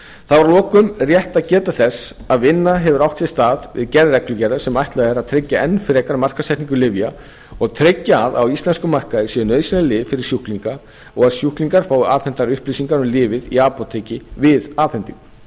þá er að lokum rétt að geta þess að vinna hefur átt sér stað við gerð reglugerðar sem ætlað er að auðvelda enn frekar markaðssetningu lyfja og tryggja að á íslenskum markaði séu nauðsynleg lyf fyrir sjúklinga og að sjúklingar fái afhentar upplýsingar um lyfið í apóteki við afhendingu ákveðið hefur